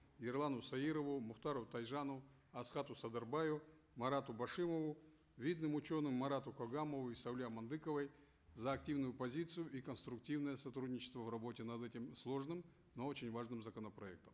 ерлану саирову мухтару тайжану асхату садырбаю марату башимову видным ученым марату когамову и сауле амандыковой за активную позицию и конструктивное сотрудничество в работе над этим сложным но очень важным законопроектом